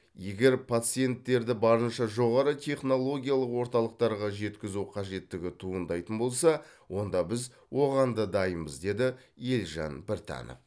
егер пациенттерді барынша жоғары технологиялық орталықтарға жеткізу қажеттігі туындайтын болса онда біз оған да дайынбыз деді елжан біртанов